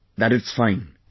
That it's fine...